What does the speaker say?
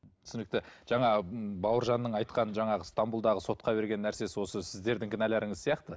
түсінікті жаңағы бауыржанның айтқан жаңағы стамбулдағы сотқа берген нәрсесі осы сіздердің кінәларыңыз сияқты